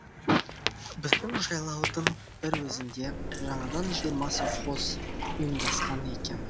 біздің жайлаудың бір өзінде жаңадан жиырма совхоз ұйымдасқан екен